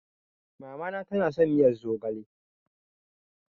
Mamana tana son miyar zogale.